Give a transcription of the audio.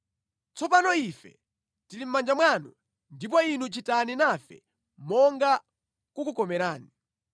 Tsopanotu ife tili mʼmanja mwanu, ndipo inu chitani nafe monga kukukomerani.”